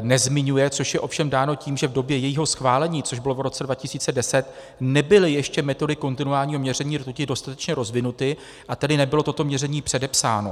nezmiňuje, což je ovšem dáno tím, že v době jejího schválení, což bylo v roce 2010, nebyly ještě metody kontinuálního měření rtuti dostatečně rozvinuty, a tedy nebylo toto měření předepsáno.